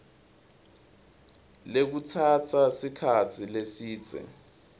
lekutsatsa sikhatsi lesidze